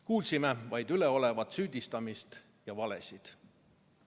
Kuulsime vaid üleolevat süüdistamist ja valesid.